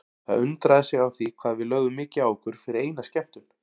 Það undraði sig á því hvað við lögðum mikið á okkur fyrir eina skemmtun.